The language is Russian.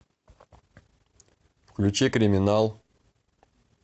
включи криминал